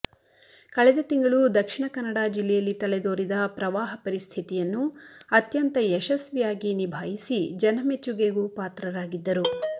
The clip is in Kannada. ಕಳೆದ ತಿಂಗಳು ದಕ್ಷಿಣಕನ್ನಡ ಜಿಲ್ಲೆಯಲ್ಲಿ ತಲೆದೋರಿದ ಪ್ರವಾಹ ಪರಿಸ್ಥಿತಿಯನ್ನು ಅತ್ಯಂತ ಯಶಸ್ವಿಯಾಗಿ ನಿಭಾಯಿಸಿ ಜನಮೆಚ್ಚುಗೆಗೂ ಪಾತ್ರರಾಗಿದ್ದರು